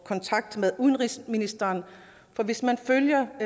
kontakt med udenrigsministeren for hvis man følger